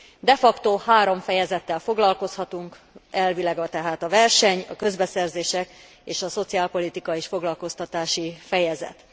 De facto 3 fejezettel foglalkozhatunk, a verseny, a közbeszerzések és a szociálpolitikai és foglalkoztatási fejezet.